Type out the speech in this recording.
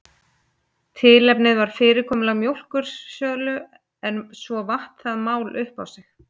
Tilefnið var fyrirkomulag mjólkursölu en svo vatt það mál upp á sig.